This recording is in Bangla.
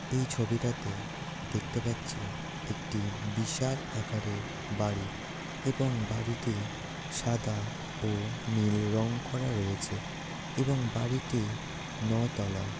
এই ছবিটাতে দেখতে পাচ্ছি একটি বিশাল আকারের বাড়ি এবং বাড়িটি সাদা ও নীল রং করা রয়েছে এবং বাড়িটি নয়তলা।